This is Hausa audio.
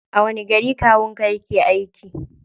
A wani gari kawun ka yake aiki?